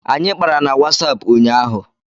Anyị kpara na Wasapụ ụnyaahụ